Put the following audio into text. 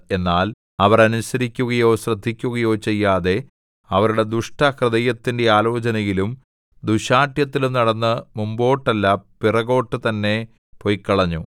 എന്നാൽ അവർ അനുസരിക്കുകയോ ശ്രദ്ധിക്കുകയോ ചെയ്യാതെ അവരുടെ ദുഷ്ടഹൃദയത്തിന്റെ ആലോചനയിലും ദുശ്ശാഠ്യത്തിലും നടന്നു മുമ്പോട്ടല്ല പിറകോട്ടു തന്നെ പൊയ്ക്കളഞ്ഞു